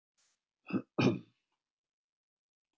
Að þú yrðir í barneignarleyfi.